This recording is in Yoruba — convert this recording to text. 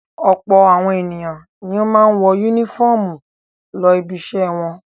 Ọ̀pọ̀ àwọn ènìyàn ni ó máa ń wọ únífọ́ọ́mù lọ ibiṣẹ́ wọn.